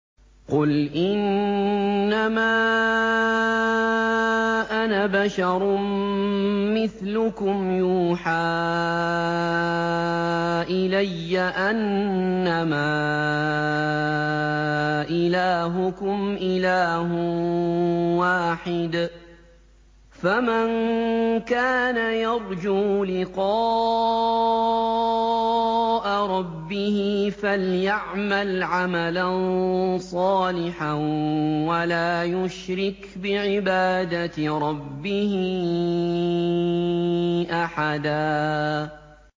قُلْ إِنَّمَا أَنَا بَشَرٌ مِّثْلُكُمْ يُوحَىٰ إِلَيَّ أَنَّمَا إِلَٰهُكُمْ إِلَٰهٌ وَاحِدٌ ۖ فَمَن كَانَ يَرْجُو لِقَاءَ رَبِّهِ فَلْيَعْمَلْ عَمَلًا صَالِحًا وَلَا يُشْرِكْ بِعِبَادَةِ رَبِّهِ أَحَدًا